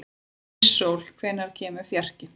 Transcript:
Íssól, hvenær kemur fjarkinn?